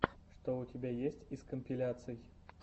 что у тебя есть из компиляций